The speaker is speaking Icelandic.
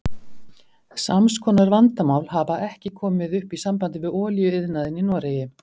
Sams konar vandamál hafa ekki komið upp í sambandi við olíuiðnaðinn í Noregi.